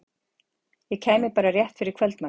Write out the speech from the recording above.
Ég kæmi bara rétt fyrir kvöldmatinn.